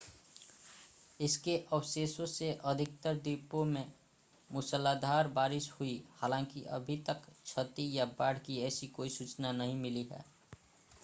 इसके अवशेषों से अधिकतर द्वीपों में मूसलाधार बारिश हुई हालांकि अभी तक क्षति या बाढ़ की ऐसी कोई सूचना नहीं मिली है